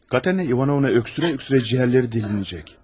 Katerina İvanovna öskürə-öskürə ciyərləri deşəcək.